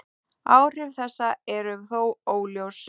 Áhrif þessa eru þó óljós.